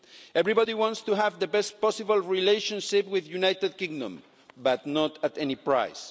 Everybody wants to have the best possible relationship with the United Kingdom, but not at any price.